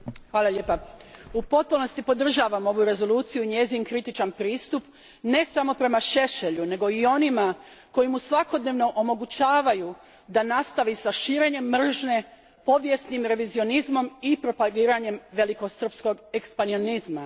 Gospodine predsjedniče, u potpunosti podržavam ovu rezoluciju i njezin kritičan pristup, ne samo prema Šešelju, nego i onima koji mu svakodnevno omogućavaju da nastavi sa širenjem mržnje povijesnim revizionizmom i propagiranjem velikosrpskog ekspanzionizma.